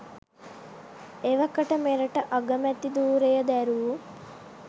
එවකට මෙරට අගමැති ධූරය දැරූ